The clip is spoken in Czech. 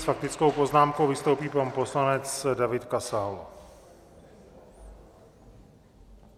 S faktickou poznámkou vystoupí pan poslanec David Kasal.